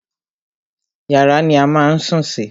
Yàrá ni a má a ń sùn sí.